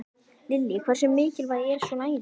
Lillý: Hversu mikilvæg er svona æfing?